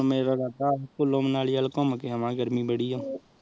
ਸ੍ਚੁਕੋ ਮਨਾਲੀ ਵਾਲ ਘੁਮ ਕ ਆਵਾਗੇ ਗਰਮੀ ਬੜੀ ਆਹ